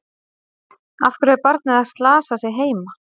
Af hverju er barnið að slasa sig heima?